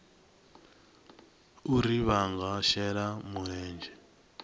uri vha nga shela mulenzhe